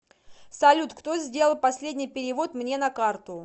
салют кто сделал последний перевод мне на карту